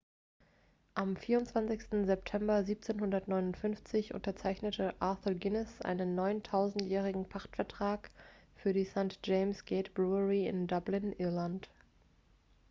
am 24 september 1759 unterzeichnete arthur guinness einen 9000-jährigen pachtvertrag für die st. james' gate brewery in dublin irland